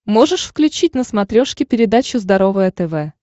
можешь включить на смотрешке передачу здоровое тв